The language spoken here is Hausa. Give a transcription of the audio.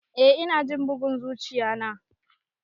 Eh ina jin bugun zuchiya na.